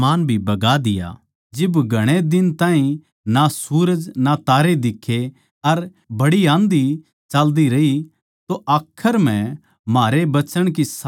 जिब घणे दिन ताहीं ना सूरज ना तारे दिक्खे अर बड्डी आँधी चाल्दी रही तो आखर म्ह म्हारै बचण की सारी उम्मीद जान्दी रही